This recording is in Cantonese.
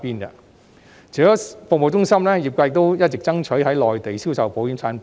除了服務中心，業界亦一直爭取在內地銷售保險產品。